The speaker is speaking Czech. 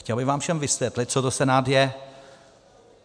Chtěl bych vám všem vysvětlit, co to Senát je.